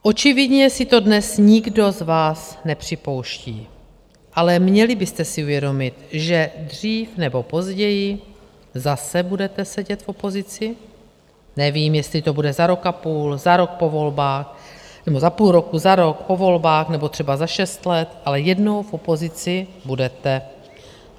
Očividně si to dnes nikdo z vás nepřipouští, ale měli byste si uvědomit, že dřív nebo později zase budete sedět v opozici, nevím, jestli to bude za rok a půl, za rok po volbách, nebo za půl roku, za rok, po volbách, nebo třeba za šest let, ale jednou v opozici budete.